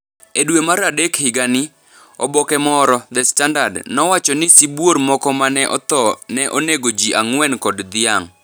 E dwe mar adek higa ni, oboke moro (The Standard) nowacho ni sibuor moko ma ne otho ne onego ji ang’wen kod dhiang’ .